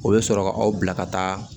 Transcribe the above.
O bɛ sɔrɔ ka aw bila ka taa